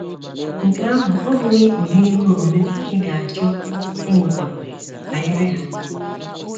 Nke ahụ ọ́ bụghị ụdị ihe omume ị ga - achọ ịmụtakwu banyere ya?